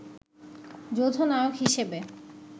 যৌথ নায়ক হিসেবে